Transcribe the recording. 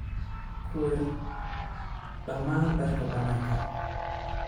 Ka waar dhammaan dharka bananka.